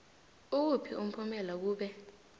ukuthi umphumela kube